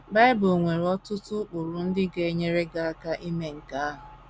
Bible nwere ọtụtụ ụkpụrụ ndị ga - enyere gị aka ime nke ahụ.